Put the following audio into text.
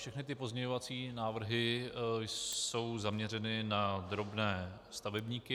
Všechny ty pozměňovací návrhy jsou zaměřeny na drobné stavebníky.